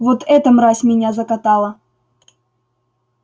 вот эта мразь меня закатала